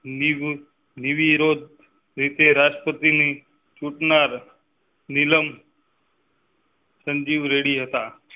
ની. રીતે રાષ્ટ્રપતિ નીલમ. સંજીવ રેડ્ડી હતાં.